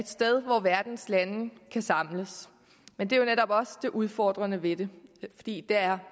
sted hvor verdens lande kan samles men det er jo netop også det udfordrende ved det fordi det er